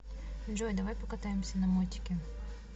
джой давай покатаемся на мотике